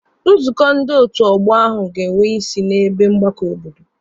Nzukọ ndị otu ọgbọ ahụ ga-enwe isi n'ebe mgbakọ obodo.